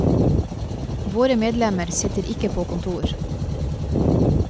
Våre medlemmer sitter ikke på kontor.